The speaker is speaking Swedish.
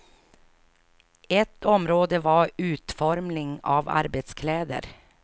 Ett område var utformning av arbetskläder.